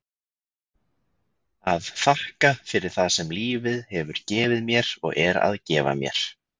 að þakka fyrir það sem lífið hefur gefið mér og er að gefa mér.